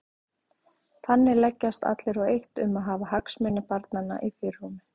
Þannig leggjast allir á eitt um að hafa hagsmuni barnanna í fyrirrúmi.